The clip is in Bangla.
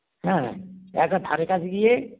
হ্যাঁ একবার ধরে কাছে গিয়ে